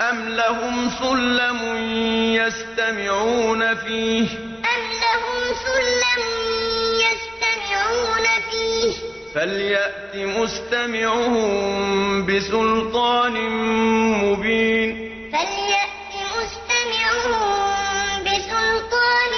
أَمْ لَهُمْ سُلَّمٌ يَسْتَمِعُونَ فِيهِ ۖ فَلْيَأْتِ مُسْتَمِعُهُم بِسُلْطَانٍ مُّبِينٍ أَمْ لَهُمْ سُلَّمٌ يَسْتَمِعُونَ فِيهِ ۖ فَلْيَأْتِ مُسْتَمِعُهُم بِسُلْطَانٍ